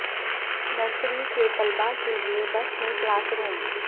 nursery کے طلبہ کے لیے بس میں کلاس روم